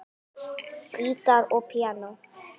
Gítar og píanó.